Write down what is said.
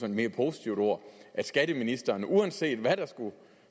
et mere positivt ord at skatteministeren uanset hvad der skulle